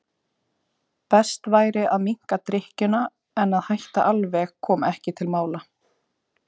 Best væri að minnka drykkjuna en að hætta alveg kom ekki til mála.